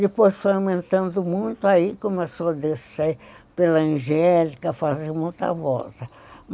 Depois foi aumentando muito, aí começou a descer pela Angélica, fazer muita volta.